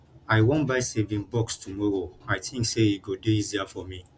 i wan buy saving box tomorrow i think say e go dey easier for me